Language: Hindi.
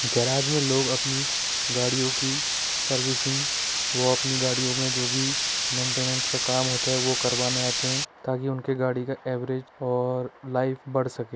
गेराज में लोग आपनी गाडियों की सर्विसिंग वो अपने गाड़ियों में जो भी मेंटेनन्स का काम होता है वो करवाने आते है ताकि उनकी गाडी का एवरेज और लाइफ बढ़ सके ।